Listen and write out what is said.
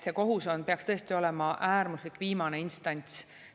Kohus peaks tõesti olema äärmuslik, viimane instants.